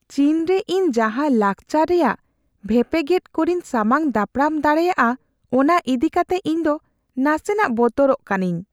ᱪᱤᱱ ᱨᱮ ᱤᱧ ᱡᱟᱦᱟᱸ ᱞᱟᱠᱪᱟᱨ ᱨᱮᱭᱟᱜ ᱵᱷᱮᱯᱮᱜᱮᱫ ᱠᱚᱨᱮᱧ ᱥᱟᱢᱟᱝ ᱫᱟᱯᱨᱟᱢ ᱫᱟᱲᱮᱭᱟᱜᱼᱟ, ᱚᱱᱟ ᱤᱫᱤ ᱠᱟᱛᱮ ᱤᱧᱫᱚ ᱱᱟᱥᱮᱱᱟᱜ ᱵᱚᱛᱚᱨᱚᱜ ᱠᱟᱱᱟᱹᱧ ᱾